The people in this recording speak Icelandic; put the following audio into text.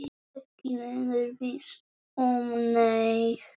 Ekki lengur viss um neitt.